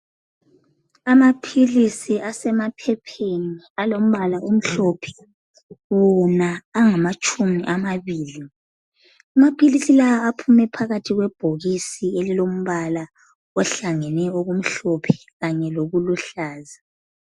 Amaphilisi asemaphepheni alombala omhlophe wona angamatshumi amabili. Amaphilisi lawa aphume phakathi kwebhokisini elilombala ohlangene okumhlophe kanye lokuluhlaza.